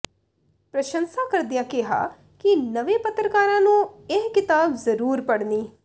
ਪ੍ਰਸੰਸ਼ਾਂ ਕਰਦਿਆਂ ਕਿਹਾ ਕਿ ਨਵੇਂ ਪੱਤਰਕਾਰਾਂ ਨੂੰ ਇਹ ਕਿਤਾਬ ਜਰੂਰ ਪੜ੍ਹਨੀ